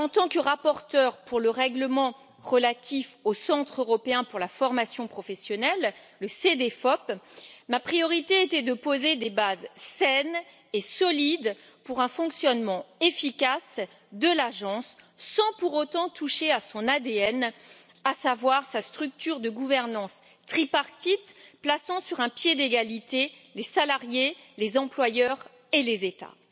En tant que rapporteure pour le règlement relatif au Centre européen pour la formation professionnelle, le Cedefop, ma priorité était de poser des bases saines et solides pour un fonctionnement efficace de l'agence, sans pour autant toucher à son ADN, à savoir sa structure de gouvernance tripartite plaçant sur un pied d'égalité les salariés, les employeurs et les États.